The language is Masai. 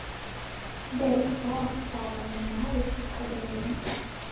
nteru kahawa saa tomon aare tadekenya